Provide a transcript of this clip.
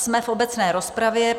Jsme v obecné rozpravě.